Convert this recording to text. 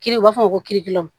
Kiri u b'a fɔ ko